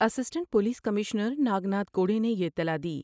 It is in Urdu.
Stunt police commissioner Nagnath Kode نے یہ اطلاع دی ۔